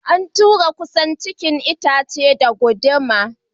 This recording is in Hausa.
An tura kusan cikin itacen da gunduman.